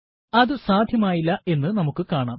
അതു സാധ്യമായില്ല എന്ന് നമുക്ക് കാണാം